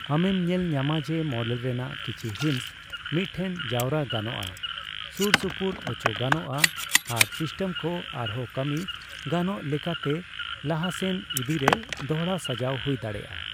ᱟᱢᱮᱢ ᱧᱮᱞ ᱧᱟᱢᱟ ᱡᱮ ᱢᱚᱰᱮᱞ ᱨᱮᱱᱟᱜ ᱠᱤᱪᱷᱤ ᱦᱤᱸᱥ ᱢᱤᱫᱴᱷᱮᱱ ᱡᱟᱣᱨᱟ ᱜᱟᱱᱚᱜᱼᱟ, ᱥᱩᱨ ᱥᱩᱯᱩᱨ ᱚᱪᱚᱜ ᱜᱟᱱᱚᱜ ᱟ ᱟᱨ ᱥᱤᱥᱴᱮᱢᱠᱚ ᱟᱨᱦᱚᱸ ᱠᱟᱹᱢᱤ ᱜᱟᱱᱚᱜ ᱞᱮᱠᱟᱛᱮ ᱞᱟᱦᱟᱥᱮᱱ ᱤᱫᱤᱭ ᱨᱮ ᱫᱚᱲᱦᱟ ᱥᱟᱡᱟᱣ ᱦᱩᱭ ᱫᱟᱲᱮᱭᱟᱜ ᱟ ᱾